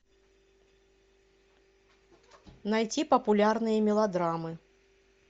найти популярные мелодрамы